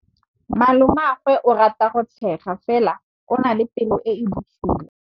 Malomagwe o rata go tshega fela o na le pelo e e bosula.